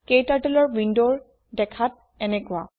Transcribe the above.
KTurtleৰ window দেখাত এনেকোৱা